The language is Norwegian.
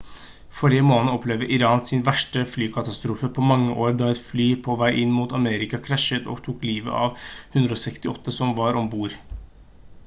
forrige måned opplevde iran sin verste flykatastrofe på mange år da et fly på vei mot armenia krasjet og tok livet av de 168 som var om bord